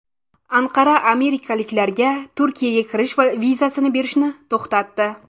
Anqara amerikaliklarga Turkiyaga kirish vizasini berishni to‘xtatdi.